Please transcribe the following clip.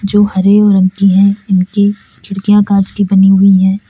जो हरे व रंग की हैं इनकी खिड़कियां कांच की बनी हुई हैं।